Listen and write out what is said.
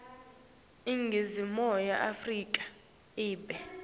iningizimu afrika ibe